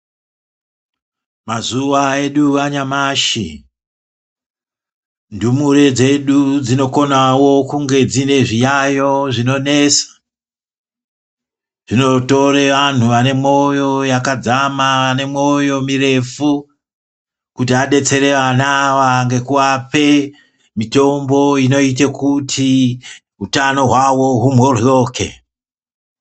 Mazuwa edu anyamashi ndumure dzedu dzinokonawo kunge dzine zviyayo zvinonesa zvinotore antu ane mwoyo yakadzama ane mwoyo mirefu kuti adetsere wana awa ngekuape mitombo inoite kuti hutano hwawo humhohloke